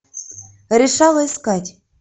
решала искать